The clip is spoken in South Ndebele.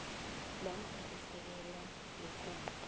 namkha isekela lekosi